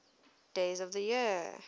days of the year